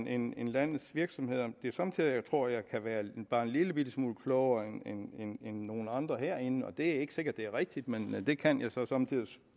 end end landets virksomheder det er somme tider at jeg tror at jeg kan være bare en lillebitte smule klogere end nogle andre herinde og det er ikke sikkert det er rigtigt men det kan jeg så somme tider